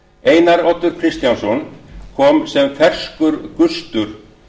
einar oddur kristjánsson kom sem ferskur gustur